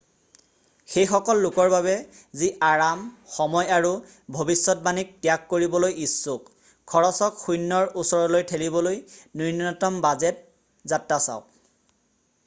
সেইসকল লোকৰ বাবে যি আৰাম সময় আৰু ভৱিষ্যতবাণীক ত্যাগ কৰিবলৈ ইচ্ছুক খৰচক শূন্যৰ ওচৰলৈ ঠেলিবলৈ নূন্যতম বাজেট যাত্ৰা চাওক ।